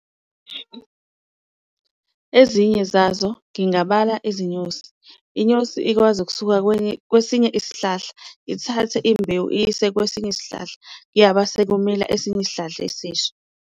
Ezinye zazo ngingabala izinyosi, inyosi ikwazi ukusuka kwesinye isihlahla ithathe imbewu iyise kwesinye isihlahla, kuyaba sekumila esinye isihlahla esisha.